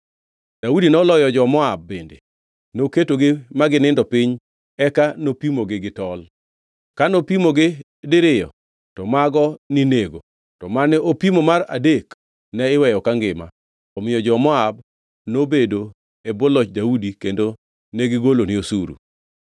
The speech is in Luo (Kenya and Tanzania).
Daudi noloyo jo-Moab bende. Noketogi ma ginindo piny eka nopimogi gi tol. Kano pimogi diriyo to mago ninego to mane opim mar adek ne iweyo kangima. Omiyo jo-Moab nobedo e bwo loch Daudi kendo negigolone osuru.